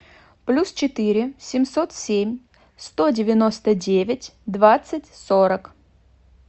плюс четыре семьсот семь сто девяносто девять двадцать сорок